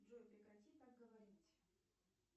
джой прекрати так говорить